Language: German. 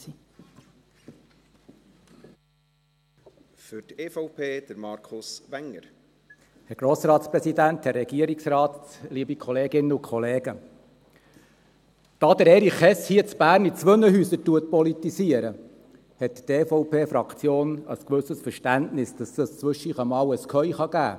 Da Erich Hess hier in Bern in zwei Häusern politisiert, hat die EVPFraktion ein gewisses Verständnis dafür, dass es zwischendurch ein Durcheinander geben kann.